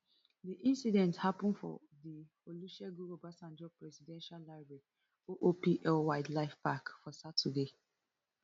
di incident happun for di olusegun obasanjo presidential library oopl wildlife park for saturday